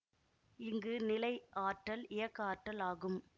இங்கு நிலை ஆற்றல் இயக்க ஆற்றல் ஆகும்